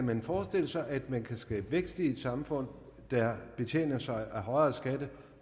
kan forestille sig at man kan skabe vækst i et samfund der betjener sig af højere skatter